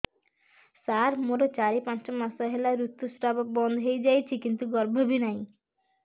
ସାର ମୋର ଚାରି ପାଞ୍ଚ ମାସ ହେଲା ଋତୁସ୍ରାବ ବନ୍ଦ ହେଇଯାଇଛି କିନ୍ତୁ ଗର୍ଭ ବି ନାହିଁ